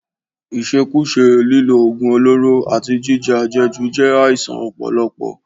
Ìṣekúṣe, lílo oògùn olóró, àti jíjẹ àjẹjù jẹ́ àìsàn ọpọlọ